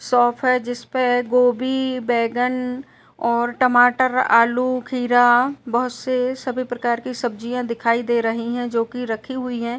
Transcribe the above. Shop है जिसपे गोभी बैंगन और टमाटर आलू खीरा बोहत से सभी प्रकार की सब्जियां दिखाई दे रही हैं जो कि रखी हुई है।